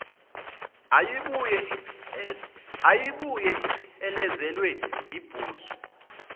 eyayibuye iphelezelwe yibhuzu